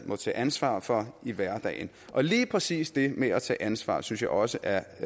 må tage ansvar for i hverdagen og lige præcis det med at tage ansvar synes jeg også er